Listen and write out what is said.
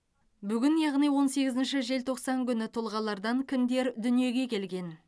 бүгін яғни он сегізінші желтоқсан күні тұлғалардан кімдер дүниеге келген